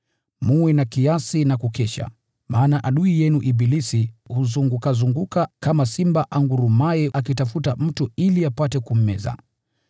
Mwe na kiasi na kukesha, maana adui yenu ibilisi huzungukazunguka kama simba angurumaye akitafuta mtu ili apate kummeza.